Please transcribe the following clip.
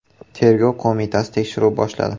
Tergov qo‘mitasi tekshiruv boshladi.